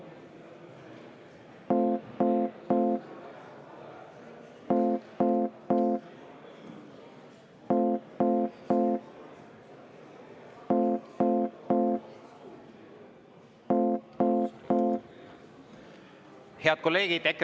Head kolleegid!